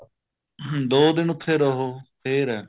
ਦੋ ਦਿਨ ਉਥੇ ਰਹੋ ਫ਼ੇਰ ਏ